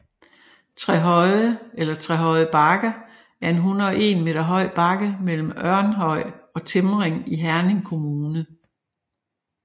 Trehøje eller Trehøje Bakke er en 101 m høj bakke mellem Ørnhøj og Timring i Herning Kommune